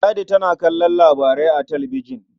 Ladi tana kallon labarai a talabijin.